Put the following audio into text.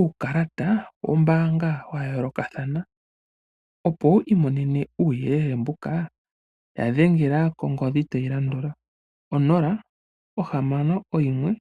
uukalata wombaanga wayoolokathana, opo wu imonene uuyelele mbuka ta dhengela konomola tayi landula 0612992222.